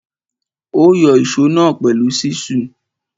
Ó yọ ìsó náà pẹ̀lú ṣísù.